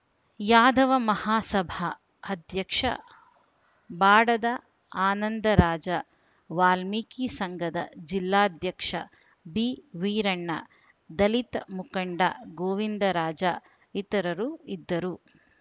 ಯಾದವ ಮಹಾಸಭಾ ಅಧ್ಯಕ್ಷ ಬಾಡದ ಆನಂದರಾಜ ವಾಲ್ಮಿಕಿ ಸಂಘದ ಜಿಲ್ಲಾಧ್ಯಕ್ಷ ಬಿವೀರಣ್ಣ ದಲಿತ ಮುಖಂಡ ಗೋವಿಂದರಾಜ ಇತರರು ಇದ್ದರು